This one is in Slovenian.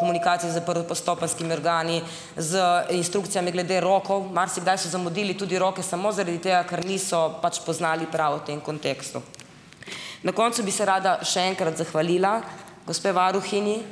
komunikaciji s prvostopenjskimi organi z instrukcijami glede rokov, marsikdaj so zamudili tudi roke samo zaradi tega, ker niso pač poznali prav v tem kontekstu. Na koncu bi se rada še enkrat zahvalila gospe varuhinji ...